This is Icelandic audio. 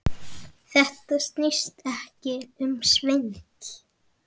Þetta snýst ekki um svindl.